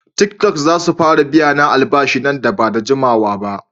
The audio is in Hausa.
Tiktok zasu fara biyana albashi nan bada jikawaba.